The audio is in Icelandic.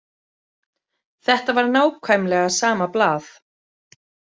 Þetta var nákvæmlega sama blað.